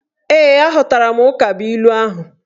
Ee, aghọtara m ukabuilu ahụ